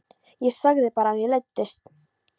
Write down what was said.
Ég sagði bara að mér leiddist.